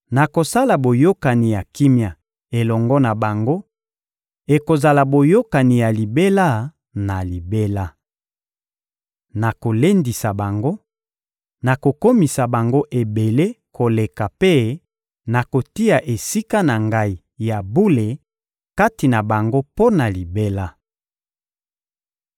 Nakosala boyokani ya kimia elongo na bango: ekozala boyokani ya libela na libela. Nakolendisa bango, nakokomisa bango ebele koleka mpe nakotia Esika na Ngai ya bule kati na bango mpo na libela.